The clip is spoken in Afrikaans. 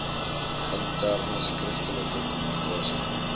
interne skriftelike kommunikasie